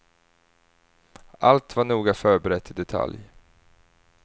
Allt var noga förberett i detalj.